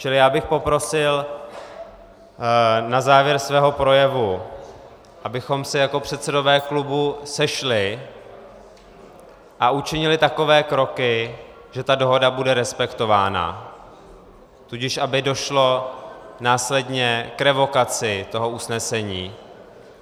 Čili já bych poprosil na závěr svého projevu, abychom se jako předsedové klubu sešli a učinili takové kroky, že ta dohoda bude respektována, tudíž aby došlo následně k revokaci toho usnesení.